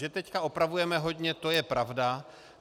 Že teď opravujeme hodně, to je pravda.